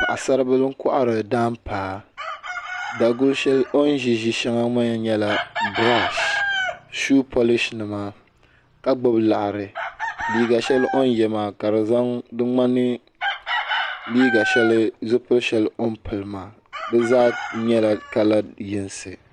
Paɣisari bili n.kɔhiri daanpaa dagu shɛli o ni zi maa n brasilhi shuu polishi nima ka gbubi liɣiri liiga shɛli o ni yiɛ maa ka di ŋmani zipili shɛli o ni pili maa di zaa yɛla kala yinsi.